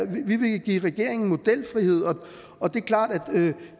vi vil give regeringen modelfrihed og det er klart at